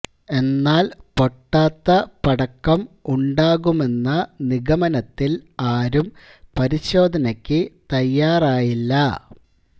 എന്നാൽ പൊട്ടാത്ത പടക്കം ഉണ്ടാകുമെന്ന നിഗമനത്തിൽ ആരും പരിശോധനയ്ക്ക് തയ്യാറായില്ല